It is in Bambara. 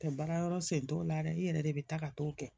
Tɛ baara yɔrɔ sen t'o la dɛ i yɛrɛ de bɛ taa ka t'o kɛ